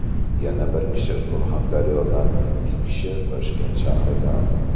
Yana bir kishi Surxondaryodan, ikki kishi Toshkent shahridan.